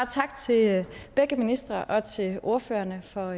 tak til begge ministre og til ordførerne for